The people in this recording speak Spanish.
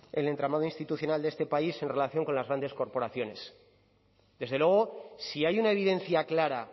el entramado institucional de este país en relación con las grandes corporaciones desde luego si hay una evidencia clara